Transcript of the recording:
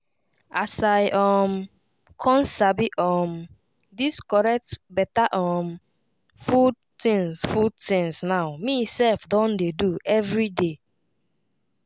as i um con sabi um dis correct beta um food tinz food tinz now me sef don dey do everyday